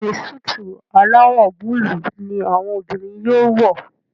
Béèni Súìtì alawọ Búlúù ní àwọn obìrin yóò wọ.